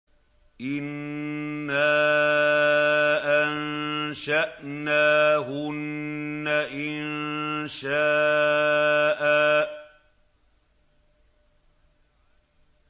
إِنَّا أَنشَأْنَاهُنَّ إِنشَاءً